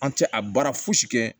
An tɛ a baara fosi kɛ